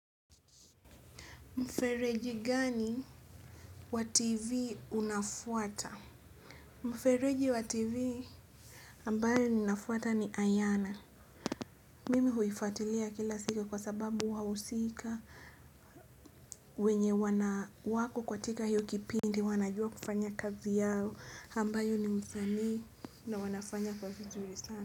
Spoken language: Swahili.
Mfereji gani wa TV unafuata? Mfereji wa TV ambayo ninafuata ni Ayana. Mimi huifuatilia kila siku kwa sababu wahusika wenye wana wako katika hiyo kipindi wanajua kufanya kazi yao ambayo ni msanii na wanafanya kwa vizuri sana.